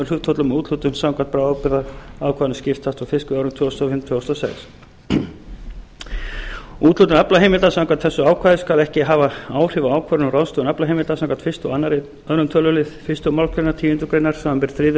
hlutföllum og úthlutun samkvæmt bráðabirgðaákvæðinu skiptist á fiskveiðiárinu tvö þúsund og fimm tvö þúsund og sex úthlutun aflaheimilda samkvæmt þessu ákvæði skal ekki hafa áhrif á ákvörðun um ráðstöfun aflaheimilda samkvæmt fyrstu og öðrum tölulið fyrstu málsgreinar tíundu greinar samanber þriðju og